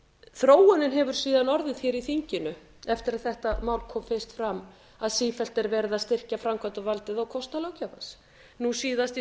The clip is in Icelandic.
þróunin hefur síðan orðið hér í þinginu eftir að þetta mál kom fyrst fram að sífellt er verið að styrkja framkvæmdarvaldið á kostnað löggjafa nú síðast í